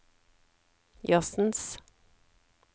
jazzens